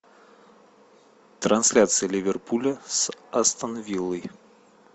трансляция ливерпуля с астон виллой